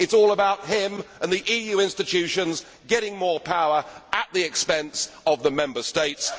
It is all about him and the EU institutions getting more power at the expense of the Member States.